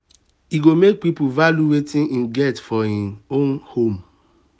e go make person value wetin im get for im own home